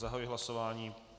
Zahajuji hlasování.